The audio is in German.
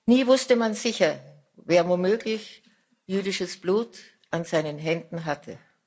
Nie wusste man sicher, wer womöglich jüdisches Blut an seinen Händen hatte.